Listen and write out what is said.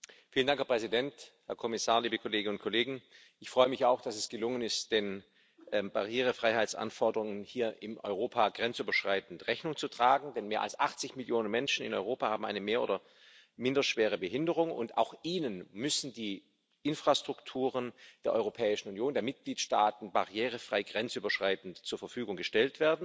Herr Präsident, Herr Kommissar, liebe Kolleginnen und Kollegen, ich freue mich auch, dass es gelungen ist, den Barrierefreiheitsanforderungen hier in Europa grenzüberschreitend Rechnung zu tragen, denn mehr als 80 Millionen Menschen in Europa haben eine mehr oder minder schwere Behinderung, und auch ihnen müssen die Infrastrukturen der Europäischen Union, der Mitgliedstaaten, barrierefrei grenzüberschreitend zur Verfügung gestellt werden.